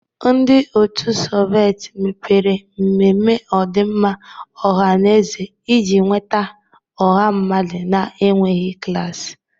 Ndị otu Soveti mebere mmemme ọdịmma ọha na eze iji nweta ọha mmadụ na-enweghị klas.